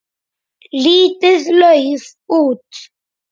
Lítið lauf út.